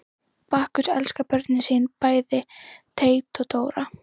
Bakkus elskar börnin sín, bæði Teit og Dóra.